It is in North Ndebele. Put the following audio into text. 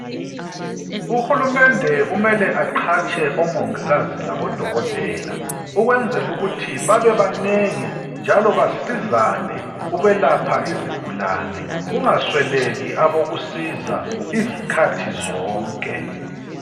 Uhulumende kumele aqhatshe omongikazi labodokotela, ukwenzelukuthi babe banengi njalo basizane ukwelapha izigulane kungasweleki abokusiza izikhathi zonke.